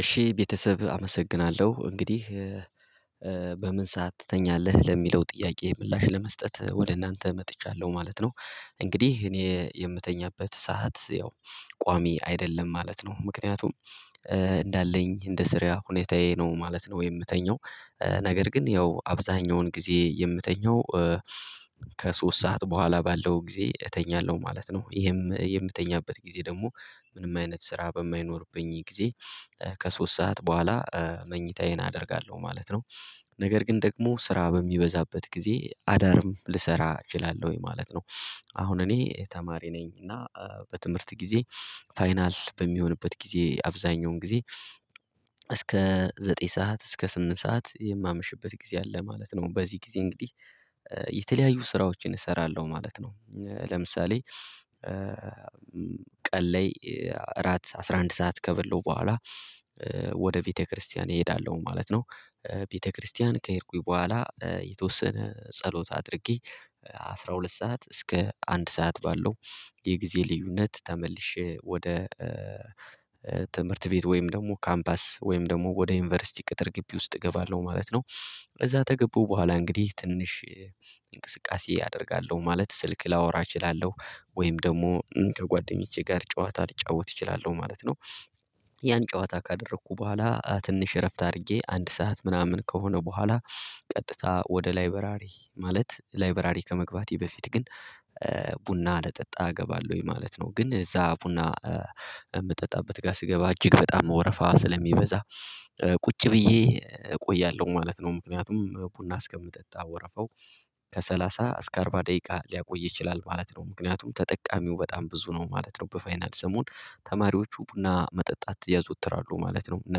እሺ ቤተሰብ አመሰግናለሁ እንግዲህ በምን ሰዓት ትተኛለህ ለሚለው ጥያቄ ምላሽ ለመስጠት ወደ እናንተ መጥቻለሁ ማለት ነው። እንግዲህ እኔ የምተኛበት ሰዓት ያው ቋሚ አይደለም ማለት ነው። ምክንያቱም እንዳለኝ እንደ ስራ ሁኔታዬ ነው ማለት ነው። የምተኛው ነገር ግን ያው አብዛኛውን ጊዜ የምተኛው ከሶስት ሰዓት በኋላ ባለው ጊዜ እተኛለሁ ማለት ነው። ይሄም የምተኛበት ጊዜ ደግሞ ምንም አይነት ስራ በማይኖርብኝ ጊዜ ከሶስት ሰዓት በኋላ መኝታዬን አደርጋለሁ ማለት ነው። ነገር ግን ደግሞ ስራ በሚበዛበት ጊዜ አዳርም ልሰራ እችላለሁኝ ማለት ነው። አሁን እኔ ተማሪ ነኝ እና በትምህርት ጊዜ ፋይናል በሚሆንበት ጊዜ አብዛኛውን ጊዜ እስከ ዘጠኝ ሰዓት እስከ ስምንት ሰዓት የማመሽበት ጊዜ አለ ማለት ነው። በዚህ ጊዜ እንግዲህ የተለያዩ ስራዎችን እሰራለሁ ማለት ነው። ለምሳሌ ቀን ላይ አራት አስራ አንድ ሰዓት ከበላሁ በኋላ ወደ ቤተክርስቲያን እሄዳለሁ ማለት ነው። ቤተክርስቲያን ከሄድኩኝ በኋላ የተወሰነ ጸሎት አድርጌ አስራ ሁለት ሰዓት እስከ አንድ ሰዓት ባለው የጊዜ ልዩነት ተመልሼ ወደ ትምህርት ቤት ወይም ደግሞ ካምፓስ ወይም ደግሞ ወደ ዩኒቨርሲቲ ቅጥር ግቢ ውስጥ እገባለሁ ማለት ነው። ከዛ ተገቡ በኋላ እንግዲህ ትንሽ እንቅስቃሴ አደርጋለሁ ማለት ስልክ ላወራ እችላለሁ ወይም ደግሞ ከጓደኞቼ ጋር ጨዋታ ልጫወት እችላለሁ ማለት ነው። ያን ጨዋታ ካደረግኩ በኋላ ትንሽ እረፍት አድርጌ አንድ ሰዓት ምናምን ከሆነ በኋላ ቀጥታ ወደ ላይብረሪ ማለት ላይበረሪ ከመግባቴ በፊት ግን ቡና ልጠጣ እገባለሁኝ ማለት ነው። ግን እዛ ቡና የምጠጣበት ጋር ስገባ እጅግ በጣም ወረፋ ስለሚበዛ ቁጭ ብዬ እቆያለሁ ማለት ነው ምክንያቱም ቡና እስከምጠጣ ወረፈው ከሰላሳ እስከ አርባ ደቂቃ ሊያቆይ ይችላል ማለት ነው። ምክንያቱም ተጠቃሚው በጣም ብዙ ነው ማለት ነው በፋይናል ሰሞን ተማሪዎቹ ቡና መጠጣት ያዘወትራሉ ማለት ነው። እና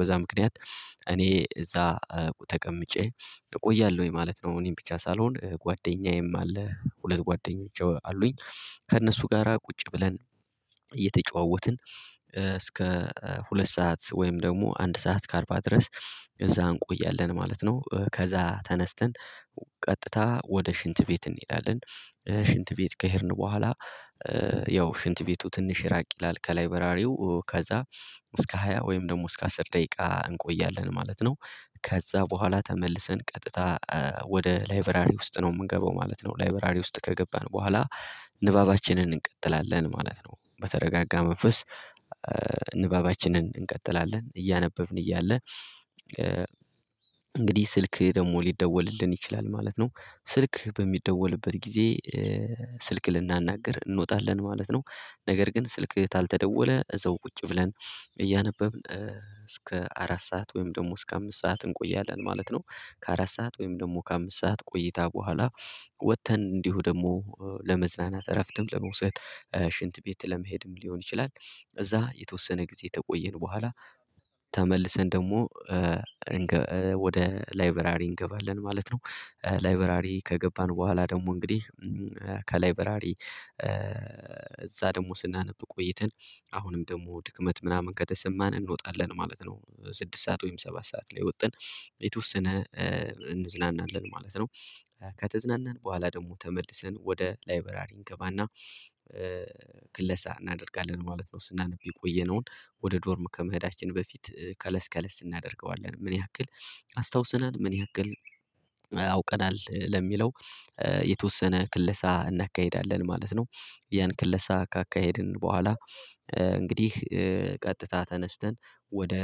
በዛ ምክንያት እኔ እዛ ተቀምጬ እቆያለሁኝ ማለት ነው። እኔም ብቻ ሳልሆን ጓደኛዬም አለ ሁለት ጓደኞች አሉኝ ከእነሱ ጋራ ቁጭ ብለን እየተጨዋወትን እስከ ሁለት ሰዓት ወይም ደግሞ አንድ ሰዓት ከአርባ ድረስ እዛ እንቆያለን ማለት ነው። ከዛ ተነስተን ቀጥታ ወደ ሽንት ቤት እንሄዳለን ሽንት ቤት ከሄድን በኋላ ያው ሽንት ቤቱ ትንሽ ራቅ ይላል ከላይብረሪው ከዛ እስከ ሃያ ወይም ደግሞ እስከ አስር ደቂቃ እንቆያለን ማለት ነው። ከዛ በኋላ ተመልሰን ቀጥታ ወደ ላይብረሪ ውስጥ ነው የምንገባው ማለት ነው። ላይበረሪ ውስጥ ከገባን በኋላ ንባባችንን እንቀጥላለን ማለት ነው። በተረጋጋ መንፈስ ንባባችንን እንቀጥላለን እያነበብን እያለ እንግዲህ ስልክ ደግሞ ሊደወልልን ይችላል ማለት ነው። ስልክ በሚደወልበት ጊዜ ስልክ ልናናግር እንወጣለን ማለት ነው። ነገር ግን ስልክ ካልተደወለ እዛው ቁጭ ብለን እያነበብን እስከ አራት ሰዓት ወይም ደግሞ እስከ አምስት ሰዓት እንቆያለን ማለት ነው። ከአራት ሰዓት ወይም ደግሞ ከአምስት ሰዓት ቆይታ በኋላ ወጥተን እንዲሁ ደግሞ ለመዝናናት እረፍትም ለመውሰድ ሽንት ቤት ለመሄድም ሊሆን ይችላል። እዛ የተወሰነ ጊዜ ተቆየን በኋላ ተመልሰን ደግሞ ወደ ላይበራሪ እንገባለን ማለት ነው። ላይበራሪ ከገባን በኋላ ደግሞ እንግዲህ ከላይበራሪ እዛ ደግሞ ስናነብ ቆይተን አሁንም ደግሞ ድክመት ምናምን ከተሰማን እንወጣለን ማለት ነው። ስድስት ሰዓት ወይም ሰባት ሰዓት ላይ ወጥተን የተወሰነ እንዝናናለን ማለት ነው። ከተዝናናን በኋላ ደግሞ ተመልሰን ወደ ላይበራሪ እንገባና ክለሳ እናደርጋለን ማለት ነው። ስናነብ የቆየነውን ወደ ዶርም ከመሄዳችን በፊት ከለስ ከለስ እናደርገዋለን ምን ያክል አስታውሰናል ምን ያክል አውቀናል ለሚለው የተወሰነ ክለሳ እናካሂዳለን ማለት ነው። ያን ክለሳ ካካሄድን በኋላ እንግዲህ ቀጥታ ተነስተን ወደ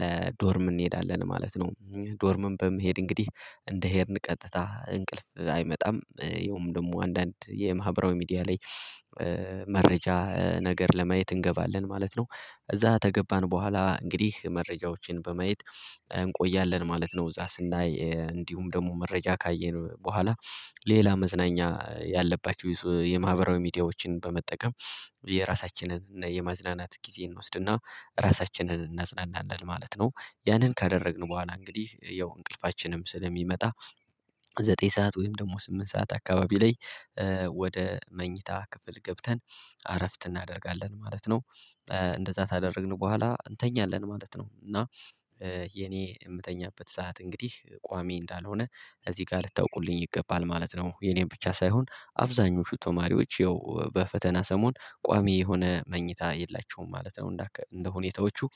ለዶርም እንሄዳለን ማለት ነው። ዶርምም በመሄድ እንግዲህ እንደ ሄድን ቀጥታ እንቅልፍ አይመጣም ይኸውም ደግሞ አንዳንድ የማህበራዊ ሚዲያ ላይ መረጃ ነገር ለማየት እንገባለን ማለት ነው። እዛ ተገባን በኋላ እንግዲህ መረጃዎችን በማየት እንቆያለን ማለት ነው እዛ ስናይ እንዲሁም ደግሞ መረጃ ካየን በኋላ ሌላ መዝናኛ ያለባቸው የማህበራዊ ሚዲያዎችን በመጠቀም የራሳችንን የማዝናናት ጊዜ እንወስድና ራሳችንን እናዝናናለን ማለት ነው። ያንን ካደረግን በኋላ እንግዲህ ያው እንቅልፋችንም ስለሚመጣ ዘጠኝ ሰዓት ወይም ደግሞ ስምንት ሰዓት አካባቢ ላይ ወደ መኝታ ክፍል ገብተን አረፍት እናደርጋለን ማለት ነው። እንደዛ ካደረግን በኋላ እንተኛለን ማለት ነው። እና የኔ የምተኛበት ሰዓት እንግዲህ ቋሚ እንዳልሆነ እዚህ ጋር ልታውቁልኝ ይገባል ማለት ነው። የኔን ብቻ ሳይሆን አብዛኞቹ ተማሪዎች ያው በፈተና ሰሞን ቋሚ የሆነ መኝታ የላቸውም ማለት ነው። እንደ እንደ ሁኔታዎቹ